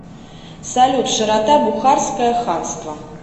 салют широта бухарское ханство